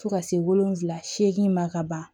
Fo ka se wolonwula seegin ma ka ban